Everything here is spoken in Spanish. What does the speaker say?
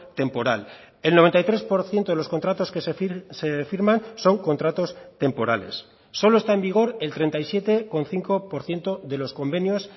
temporal el noventa y tres por ciento de los contratos que se firman son contratos temporales solo está en vigor el treinta y siete coma cinco por ciento de los convenios